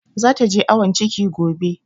Zata je awon ciki gobe.